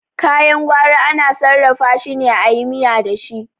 Kayan gwari ana sarrafa shine ayi miya dashi